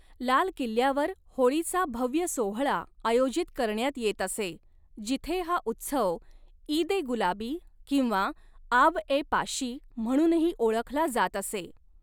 लाल किल्ल्यावर होळीचा भव्य सोहळा आयोजित करण्यात येत असे, जिथे हा उत्सव ईद ए गुलाबी किंवा आब ए पाशी म्हणूनही ओळखला जात असे.